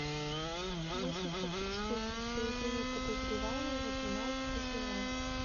мыслить как преступник поведение подозреваемого двенадцатый сезон